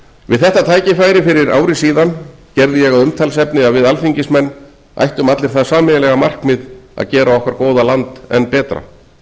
við þetta tækifæri fyrir ári gerði ég að umtalsefni að við alþingismenn ættum allir það sameiginlega markmið að gera okkar góða land enn betra